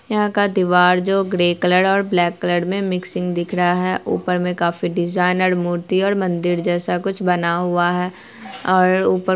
यहाँ का दिवार जो ग्रे कलर और ब्लैक कलर में मिक्सिंग दिख रहा है ऊपर में काफी डिज़ाइनर मूर्ति और मंदिर जैसा कुछ बना हुआ है और ऊपर--